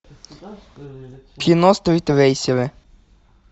кино стритрейсеры